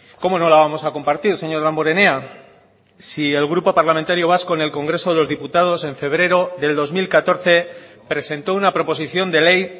cómo no la vamos a compartir señor damborenea si el grupo parlamentario vasco en el congreso de los diputados en febrero del dos mil catorce presentó una proposición de ley